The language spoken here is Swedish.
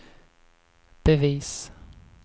bevis